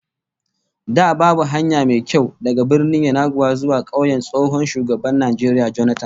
Da babu hanya mai kyau daga Birnin Yenagoa zuwa kauyen tsohon shugaban Najeriya Jonathan